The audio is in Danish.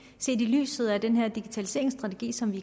set i lyset af den her digitaliseringsstrategi som vi